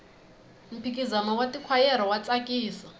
mphikizano wa tikhwayere wa tsakisa